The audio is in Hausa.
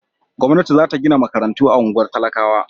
Gwamnati za ta gina makarantu a unguwar talakawa.